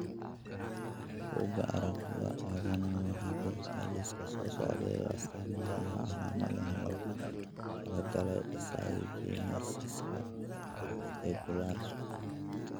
Bugaa aragtida aDdanaha waxay bixisaa liiska soo socda ee astamaha iyo calaamadaha loogu talagalay dysgenesiska Reticularka.